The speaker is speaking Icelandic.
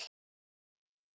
Segðu það ekki Lalli!